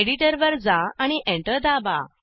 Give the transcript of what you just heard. editor वर जा आणि एंटर दाबा